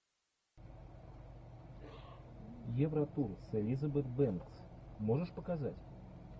евротур с элизабет бэнкс можешь показать